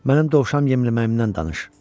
Mənim dovşan yemləməyimdən danış.